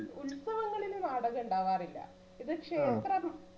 ഉത്സവങ്ങളിൽ നാടകം ഉണ്ടാവാറില്ല ഇത് ക്ഷേത്രം